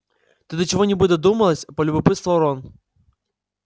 ты до чего-нибудь додумалась полюбопытствовал рон